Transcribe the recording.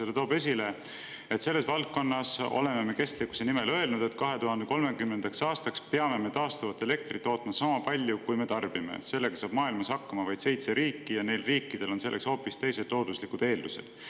Ta toob esile, et selles valdkonnas oleme kestlikkuse kohta öelnud, et 2030. aastaks peame taastuvat elektrit tootma sama palju, kui me tarbime, kuid sellega saab maailmas hakkama vaid seitse riiki ja neil riikidel on selleks hoopis teised looduslikud eeldused.